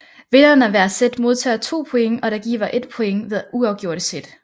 Vinderen af hver set modtager 2 points og der gives 1 point ved uafgjorte set